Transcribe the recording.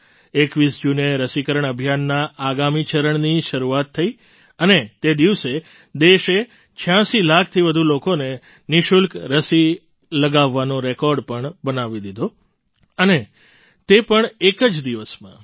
૨૧ જૂને રસીકરણ અભિયાનના આગામી ચરણની શરૂઆત થઈ અને તે દિવસે દેશે ૮૬ લાખથી વધુ લોકોને નિઃશુલ્ક રસી લગાવવાનો રેકૉર્ડ પણ બનાવી લીધો અને તે પણ એક જ દિવસમાં